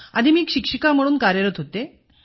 आधी मी शिक्षिका म्हणून कार्यरत होते